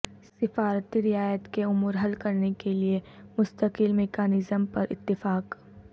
سفارتی رعایت کے امور حل کرنے کیلیے مستقل میکانزم پر اتفاق